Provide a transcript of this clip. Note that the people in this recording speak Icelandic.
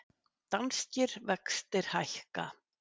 Danskir vextir hækka